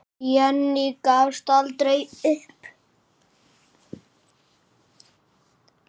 Jenný gafst aldrei upp.